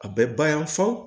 A bɛ ba yan fɔ